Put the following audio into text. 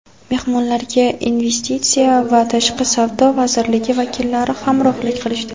Mehmonlarga Investitsiya va tashqi savdo vazirligi vakillari hamrohlik qilishdi.